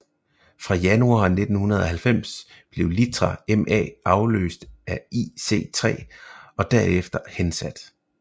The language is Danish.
Fra januar 1990 blev litra MA afløst af IC3 og derefter hensat